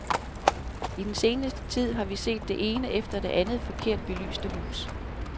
I den seneste tid har vi set det ene efter det andet forkert belyste hus.